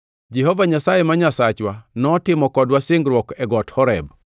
Jehova Nyasaye ma Nyasachwa notimo kodwa singruok e got Horeb.